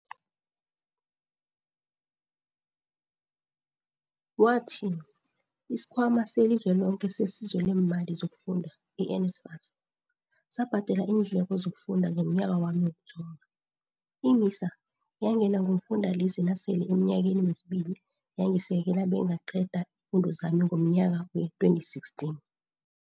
Wathi, isiKhwama seli Zweloke seSizo leeMali zokuFunda, i-NSFAS, sabhadela iindleko zokufunda zomnyaka wami wokuthoma, i-MISA yangena ngomfundalize nasele emnyakeni wesibili yangisekela bengaqeda iimfundo zami ngomnyaka wee-2016.